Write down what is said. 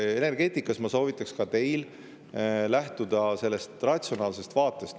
Energeetikas ma soovitaks ka teil lähtuda sellest ratsionaalsest vaatest.